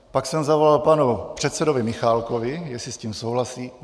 Pak jsem zavolal panu předsedovi Michálkovi, jestli s tím souhlasí.